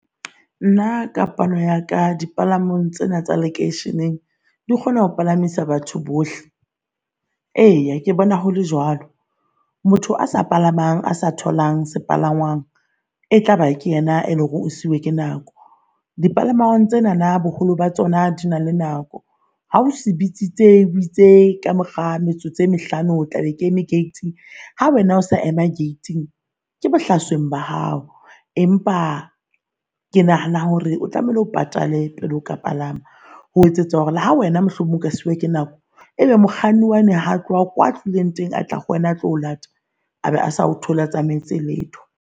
Nna ka palo ya ka di palamang tsena tsa lekeisheneng di kgona ho palamisa batho bohle, eya ke bona hole jwalo. Motho a sa palamang a sa tholang sepalangwang e tlaba, ke yena eleng hore o siuwe ke nako. Di palamang tsena na boholo ba tsona di na le nako. Ha o se bitsitsitse ka mora metsotso e mehlano, o tla be ke eme gate-ing ha wena o sa ema gate-ing ke bohlasoeng ba hao. Empa ke nahana hore o tlamehile o patale pele oka palama ho etsetsa hore ha wena mohlomong ka suwa ke nako, e be mokganni wane ha tloha kwa tlohileng teng a tla ho wena atlo lata a be a sa o thole a tsamaetse letho.